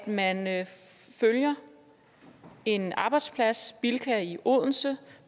man følger en arbejdsplads bilka i odense